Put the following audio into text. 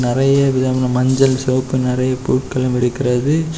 மஞ்சள் சிவப்புணு நெறைய பொருட்களும் இருக்கிறது.